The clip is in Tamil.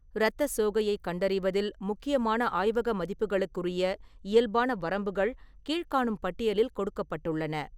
இரத்த சோகையைக் கண்டறிவதில் முக்கியமான ஆய்வக மதிப்புகளுக்குரிய இயல்பான வரம்புகள் கீழ்க்காணும் பட்டியலில் கொடுக்கப்பட்டுள்ளன.